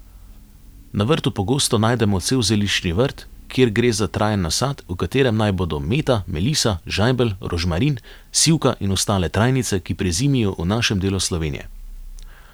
Na vrtu pogosto najdemo cel zeliščni vrt, kjer gre za trajen nasad, v katerem naj bodo meta, melisa, žajbelj, rožmarin, sivka in ostale trajnice, ki prezimijo v našem delu Slovenije.